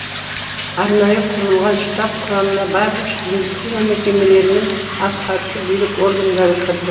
арнайы құрылған штаб құрамына барлық медицина мекемелері мен атқарушы билік органдары кірді